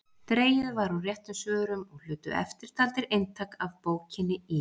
Dregið var úr réttum svörum og hlutu eftirtaldir eintak af bókinni í